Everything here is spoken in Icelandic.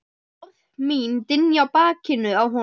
Orð mín dynja á bakinu á honum.